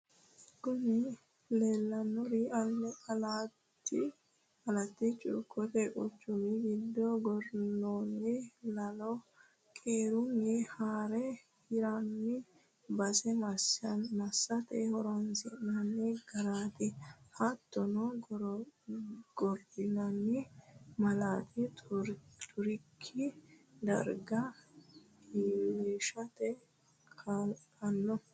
kuni leellanori alatti cuukote quchumi giddo gorrinoonni lalo qeerunni haare hirranni base massate horonsi'nanni gaareti. hattonni gorrinoonni maali xurikki darga iilishate kaa'lanno.